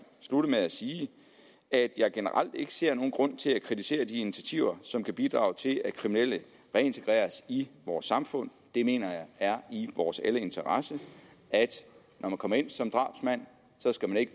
slutte med at sige at jeg generelt ikke ser nogen grund til at kritisere de initiativer som kan bidrage til at kriminelle reintegreres i vores samfund det mener jeg er i vores alles interesse når man kommer ind som drabsmand skal man ikke